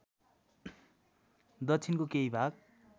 दक्षिणको केही भाग